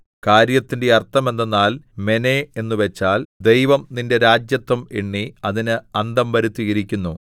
കാര്യത്തിന്റെ അർത്ഥമെന്തെന്നാൽ മെനേ എന്നുവച്ചാൽ ദൈവം നിന്റെ രാജത്വം എണ്ണി അതിന് അന്തം വരുത്തിയിരിക്കുന്നു